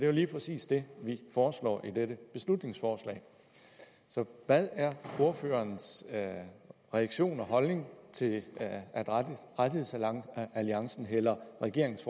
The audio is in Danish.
jo lige præcis det vi foreslår i dette beslutningsforslag så hvad er ordførerens reaktion og holdning til at rettighedsalliancen hælder regeringens